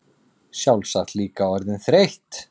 Sjálfsagt líka orðin þreytt.